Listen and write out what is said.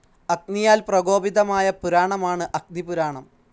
അഗ്നിയാൽ പ്രകോപിതമായ പുരാണമാണ് അഗ്നിപുരാണം.